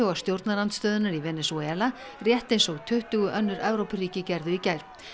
stjórnarandstöðunnar í Venesúela rétt eins og tuttugu önnur Evrópuríki gerðu í gær